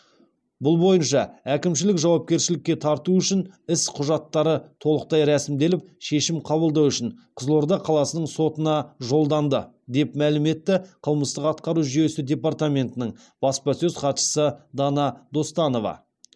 бұл бойынша әкімшілік жауапкершілікке тарту үшін іс құжаттары толықтай рәсімделіп шешім қабылдау үшін қызылорда қаласының сотына жолданды деп мәлім етті қылмыстық атқару жүйесі департаментінің баспасөз хатшысы дана достанова